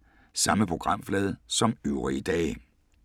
Samme programflade som øvrige dage